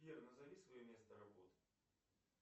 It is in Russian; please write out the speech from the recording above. сбер назови свое место работы